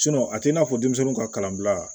a t'i n'a fɔ denmisɛnninw ka kalanbila